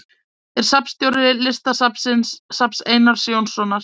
Er safnstjóri Listasafns Einars Jónssonar.